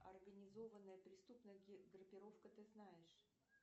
организованная преступная группировка ты знаешь